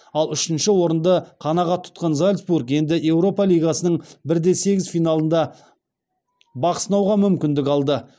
ал үшінші орынды қанағат тұтқан зальцбург енді еуропа лигасының бір де сегіз финалында бақ сынауға мүмкіндік алды